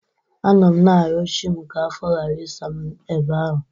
Anọ m na-ayọ chị m ka afọ ghara ịsa m ebe ahụ.